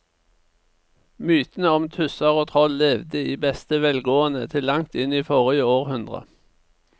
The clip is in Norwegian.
Mytene om tusser og troll levde i beste velgående til langt inn i forrige århundre.